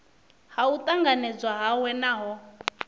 ha u tanganedzwa hawe naho